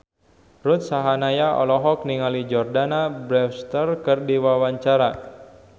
Ruth Sahanaya olohok ningali Jordana Brewster keur diwawancara